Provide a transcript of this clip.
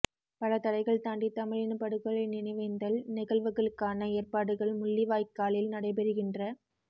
பல தடைகள் தாண்டி தமிழினப் படுகொலையின் நினைவேந்தல் நிகழ்வுகளுக்கான ஏற்பாடுகள் முள்ளிவாய்க்காலில் நடைபெறுகின்ற